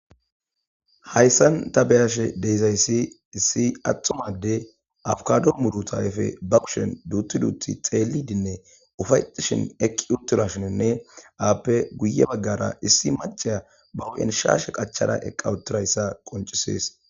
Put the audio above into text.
hayssan ta beyashe deizayssi issi attumade abkado mudutayfe ba kushen duuttuduuti xeelidinne ufayetishin eqqi utturashoninne aappe guye baggara issi maceya bawu7enshashe qachada eqqawutirayssa qoncisees